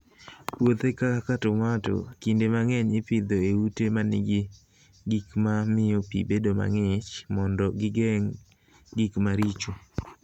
Puothe kaka tomato, kinde mang'eny ipidho e ute ma nigi gik ma miyo pi bedo mang'ich mondo gigeng' gik maricho.